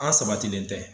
An sabatilen tɛ